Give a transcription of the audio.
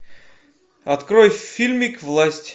открой фильмик власть